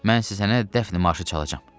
Mən sənsə sənə dəfni marşı çalacağam.